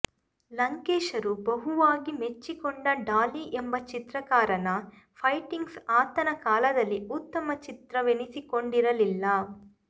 ಲಂಕೇಶರು ಬಹುವಾಗಿ ಮೆಚ್ಚಿ ಕೊಂಡ ಡಾಲಿ ಎಂಬ ಚಿತ್ರಕಾರನ ಪೈಂಟಿಂಗ್ಸ್ ಆತನ ಕಾಲದಲ್ಲಿ ಉತ್ತಮ ಚಿತ್ರವೆನಿಸಿಕೊಂಡಿರಲಿಲ್ಲ